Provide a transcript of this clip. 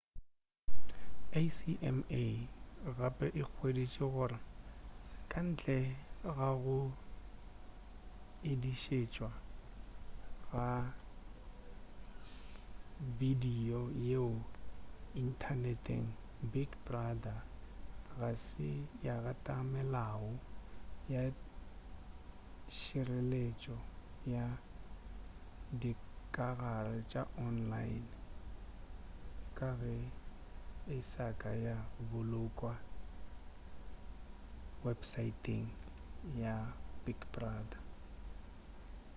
acma gape e hweditše gore kantle ga go edišetšwa ga bedibio yeo inthaneteng big brother ga se ya gata melao ya tšhiretšo ya dikagare tša online ka ge e sa ka ya bolokwa wepesaeteng ya big brother